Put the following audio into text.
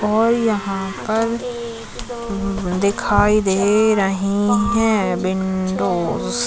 और यहाँ पर दिखाई दे रहे है विंडोज --